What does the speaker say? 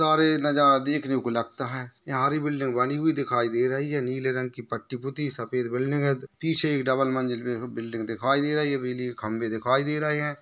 सारे नजारा देखने को लगता है यहा हरी बिल्डिंग बनी हुई दिखाई दे रही है नीले रंग की पट्टी पुती सफ़ेद बिल्डिंग है पीछे एक डबल मंजिल पे एक बिल्डिंग दिखाई दे रही है बिजली के खंबे दिखाई दे रहे है।